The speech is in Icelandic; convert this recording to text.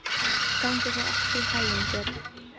Gangi þér allt í haginn, Björn.